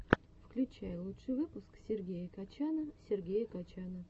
включай лучший выпуск сергея качана сергея качана